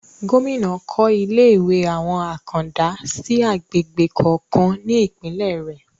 Gómìnà kọ́ ilé ìwé àwọn àkàndá sí agbègbè kọ̀ọ̀kan ní Ìpínlẹ̀ rẹ̀